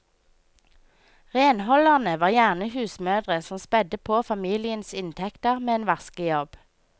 Renholderne var gjerne husmødre som spedde på familiens inntekter med en vaskejobb.